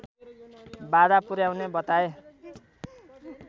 बाधा पुर्‍याउने बताए